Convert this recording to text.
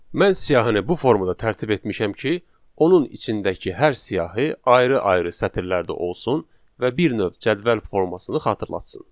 Mən siyahını bu formada tərtib etmişəm ki, onun içindəki hər siyahı ayrı-ayrı sətirlərdə olsun və bir növ cədvəl formasını xatırlatsın.